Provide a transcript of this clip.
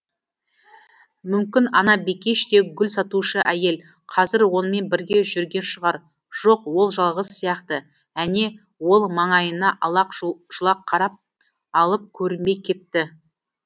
мүмкін ана бикеш те гүл сатушы әйел қазір онымен бірге жүрген шығар жоқ ол жалғыз сияқты әне ол маңайына алақ жұлақ қарап алып көрінбей кетті